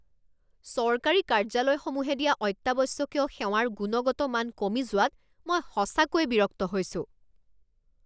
চৰকাৰী কাৰ্য্যালয়সমূহে দিয়া অত্যাৱশ্যকীয় সেৱাৰ গুণগত মান কমি যোৱাত মই সঁচাকৈয়ে বিৰক্ত হৈছোঁ।